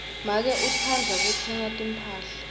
make utsandza kutsenga timphahla